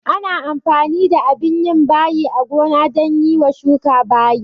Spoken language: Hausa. Ana amfani da abin yin bayi a gona dan yiwa shuka bayi